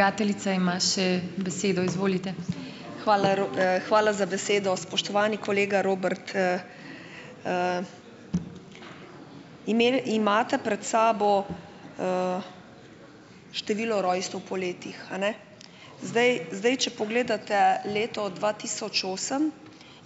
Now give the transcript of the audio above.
Hvala hvala za besedo. Spoštovani kolega Robert. Imate pred sabo število rojstev po letih, a ne. Zdaj, zdaj, če pogledate leto dva tisoč osem,